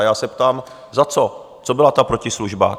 A já se ptám: za co, co byla ta protislužba?